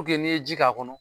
Puke n'i ye ji k'a kɔnɔ